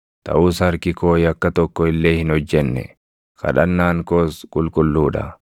Taʼus harki koo yakka tokko illee hin hojjenne; kadhannaan koos qulqulluu dha.